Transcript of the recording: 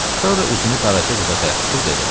Sonra üzünü qaraca qıza tərəf tutub dedi: